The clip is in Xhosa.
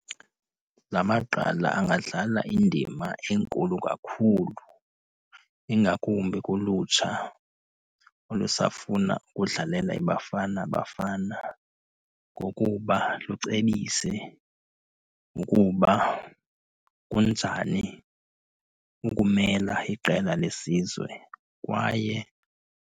La magqala angadlala indima enkulu kakhulu ingakumbi kulutsha olusafuna ukudlalela iBafana Bafana kokuba lucebise ukuba kunjani ukumela iqela lesizwe kwaye.